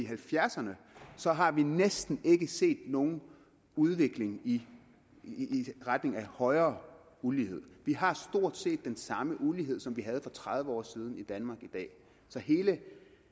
halvfjerdserne så har vi næsten ikke set nogen udvikling i retning af højere ulighed vi har stort set den samme ulighed som vi havde for tredive år siden i danmark i dag så hele